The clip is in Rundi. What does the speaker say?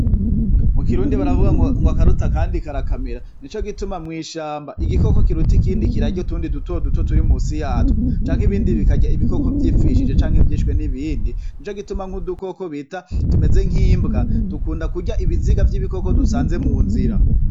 Mukirundi baravu ngo:"Akaruta akandi karakamira."Nico gituma mw'ishamba igikoko kiruta ikindi kirarya utundi dutoduto turi munsi yatwo ,canke ibindi bikarya ibikoko vyipfishije canke vyishwe n'ibindi, nico gituma nk'udukoko tumeze nkimbwa dukunda kurya ibiziga vy'ibikoko dusanze munzira.